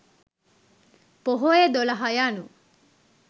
පොහොය දොළහ යනු